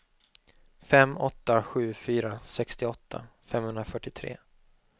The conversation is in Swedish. fem åtta sju fyra sextioåtta femhundrafyrtiotre